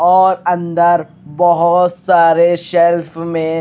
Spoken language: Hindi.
और अंदर बहोत सारे शेल्फ में--